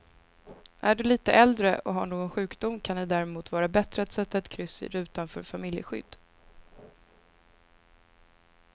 Är du lite äldre och har någon sjukdom kan det därmot vara bättre att sätta ett kryss i rutan för familjeskydd.